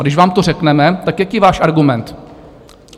A když vám to řekneme, tak jaký je váš argument?